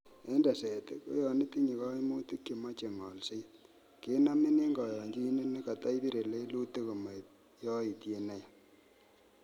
En teset, ko yon itinye koimutik chemoche ngolset, kenomin en koyonyinet nekoto ibire lelutik komoib yoitiet neyaa.